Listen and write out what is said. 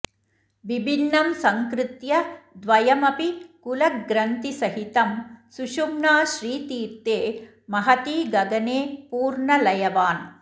विभिन्नं सङ्कृत्य द्वयमपि कुलग्रन्थिसहितं सुषुम्नाश्रीतीर्थे महति गगने पूर्णलयवान्